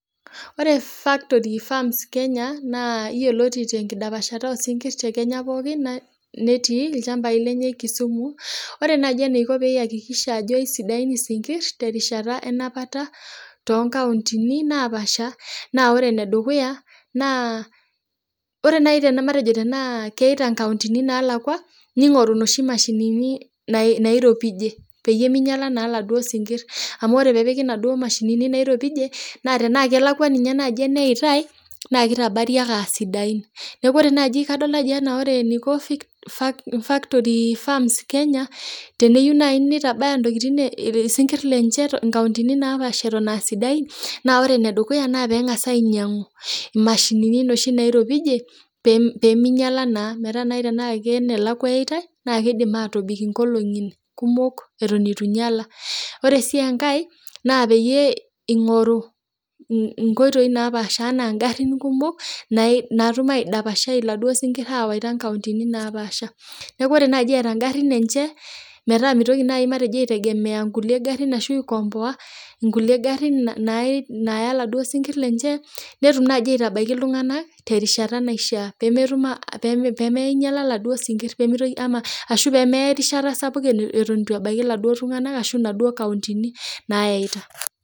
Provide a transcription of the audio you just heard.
Ore factory farms Kenya naa eyioloti tenkidapashata oo sinkir tee Kenya pookin netii ilchambai lenye Kisumu ore naaji eniko pee eyakikisha Ajo esidain esinkir tenkata enapata too nkauntini naa pasha naa ore ene dukuya naa ore naaji tenaa keyaita nkauntini nalakua ning'oru enoshi mashinini nairopijie pee minyiala eladuo sinkir amu ore pee epiki enaduo mashinini nairopijie naa Tena kelakua ninye najii eneyaitai naa kitabarii ake aa sidain neeku ore naaji kadol ena ore eniko factory farms Kenya teniyieu naaji nintabaya esinkir lenye nkauntini napasha Eton AA sidain naa ore enedukuya naa pee ang'as ainyiang'u emasinini nairopijie pee minyiala naa metaa Tena kenelakua eyaitai naa kidim atobiko enkolongi kumok eitu enyiala oree sii enkae naa peeyie eingoru enkoitoi naapasha enaa garin kumok natum aidapshaa eladuo sinkir awaita nkauntini napashaa neeku ore najii etaa garin enye metaa mitoki naaji aiteng'ena nkulie garin ashu aikompoa nkulie garin Naya eladuo sinkir lenye netum najii aitabaiki iltung'ana terishata naishaa pee minyiala eladuo sinkir ashu pee meya erishata eitu ebaiki eladuo tung'ana ashu nkauntini Nayaita